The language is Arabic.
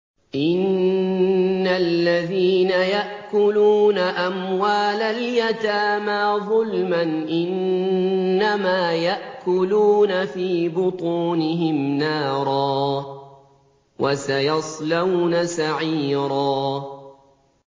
إِنَّ الَّذِينَ يَأْكُلُونَ أَمْوَالَ الْيَتَامَىٰ ظُلْمًا إِنَّمَا يَأْكُلُونَ فِي بُطُونِهِمْ نَارًا ۖ وَسَيَصْلَوْنَ سَعِيرًا